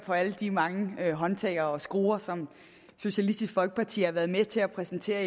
på alle de mange håndtag og skruer som socialistisk folkeparti har været med til at præsentere